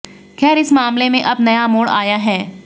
खैर इस मामले में अब नया मोड़ आया है